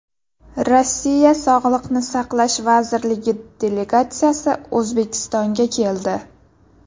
Rossiya sog‘liqni saqlash vazirligi delegatsiyasi O‘zbekistonga keldi.